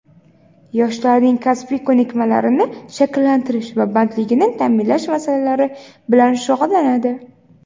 yoshlarning kasbiy ko‘nikmalarini shakllantirish va bandligini ta’minlash masalalari bilan shug‘ullanadi.